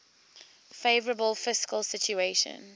favourable fiscal situation